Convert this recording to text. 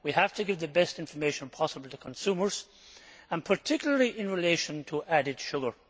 we have to give the best information possible to consumers, particularly in relation to added sugar.